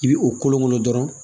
I bi o kolon kɔnɔ dɔrɔn